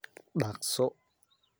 Dhaqso.